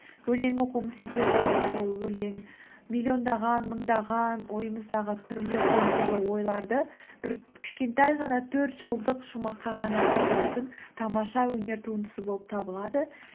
өлең оқуымның себебі ол өлең миллиондаған мыңдаған ойымыздағы түрлі сан түрлі ойларды бір кішкентай ғана төрт жолдық шумаққа ғана сыйдыратын тамаша өнер туындысы болып табылады